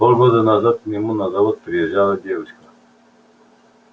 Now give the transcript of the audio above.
полгода назад к нему на завод приезжала девушка